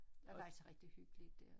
Der er faktisk rigtig hyggeligt dér